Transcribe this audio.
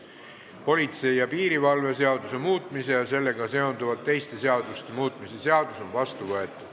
Politsei ja piirivalve seaduse muutmise ja sellega seonduvalt teiste seaduste muutmise seadus on vastu võetud.